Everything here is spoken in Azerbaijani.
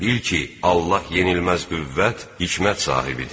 Bil ki, Allah yenilməz qüvvət, hikmət sahibidir.